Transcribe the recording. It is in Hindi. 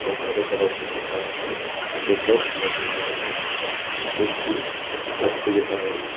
वो हरे कलर में दिख रहा है नीचे ब्लॉक्स लगे हुए हैं जो कि रास्ते जैसा है।